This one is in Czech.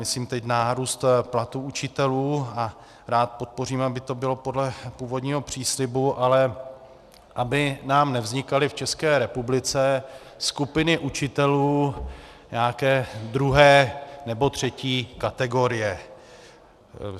Myslím teď nárůst platů učitelů a rád podpořím, aby to bylo podle původního příslibu, ale aby nám nevznikaly v České republice skupiny učitelů nějaké druhé nebo třetí kategorie.